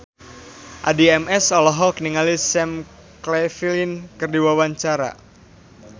Addie MS olohok ningali Sam Claflin keur diwawancara